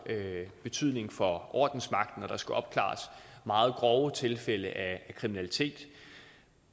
betydning for ordensmagten når der skal opklares meget grove tilfælde af kriminalitet